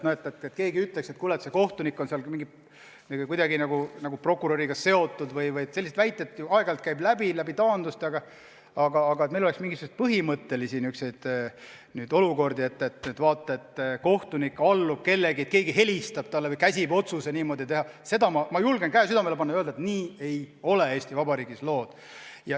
Seda, et keegi ütleb, et kuule, see kohtunik seal on kuidagi prokuröriga seotud vms – selliseid väiteid ju aeg-ajalt taanduste puhul käib läbi, aga et meil oleks põhimõtteliselt võimalik olukord, et kohtunik allub kellelegi, et keegi helistab talle või käsib just säärase otsuse teha –, ma julgen käe südamele panna ja öelda, et nii Eesti Vabariigis lood ei ole.